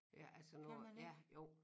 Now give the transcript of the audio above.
Ja altså når ja jo